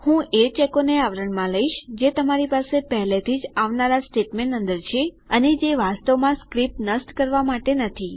હું એ ચેકોને આવરણમાં લઇશ જે તમારી પાસે પહેલાથી જ આવનારા સ્ટેટમેંટ અંદર છે અને જે વાસ્તવમાં સ્ક્રીપ્ટ નષ્ટ કરવા માટે નથી